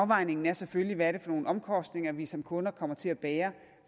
afvejningen er selvfølgelig hvad det er for nogle omkostninger vi som kunder kommer til at bære